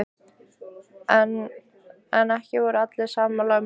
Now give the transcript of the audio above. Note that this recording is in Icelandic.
En ekki voru allir sammála um leiðirnar.